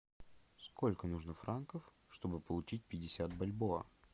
сколько нужно франков чтобы получить пятьдесят бальбоа